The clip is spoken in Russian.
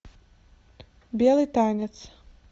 белый танец